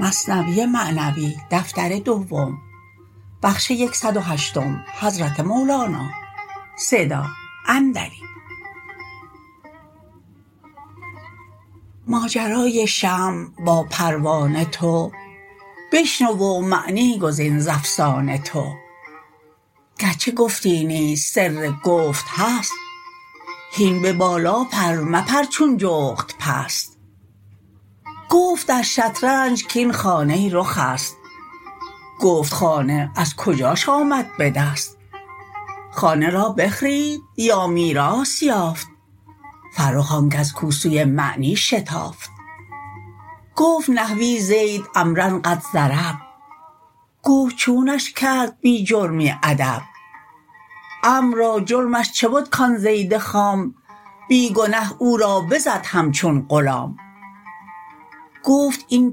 ماجرای شمع با پروانه تو بشنو و معنی گزین ز افسانه تو گرچه گفتی نیست سر گفت هست هین به بالا پر مپر چون جغد پست گفت در شطرنج کین خانه رخ است گفت خانه از کجاش آمد به دست خانه را بخرید یا میراث یافت فرخ آنکس کو سوی معنی شتافت گفت نحوی زید عمروا قد ضرب گفت چونش کرد بی جرمی ادب عمرو را جرمش چه بد کان زید خام بی گنه او را بزد همچون غلام گفت این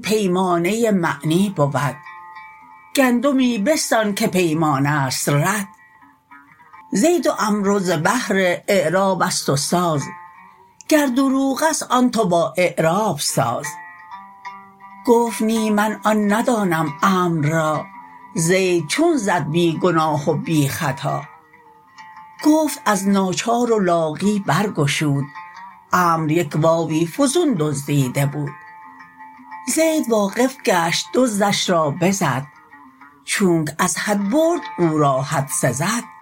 پیمانه معنی بود گندمی بستان که پیمانه ست رد زید و عمروا ز بهر اعرابست و ساز گر دروغست آن تو با اعراب ساز گفت نی من آن ندانم عمرو را زید چون زد بی گناه و بی خطا گفت از ناچار و لاغی بر گشود عمرو یک واو فزون دزدیده بود زید واقف گشت دزدش را بزد چونک از حد برد او را حد سزد